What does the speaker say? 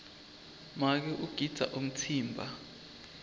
make ugidza umtsimba